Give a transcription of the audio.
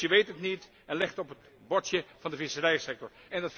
De Commissie weet het niet en legt het op het bordje van de visserijsector.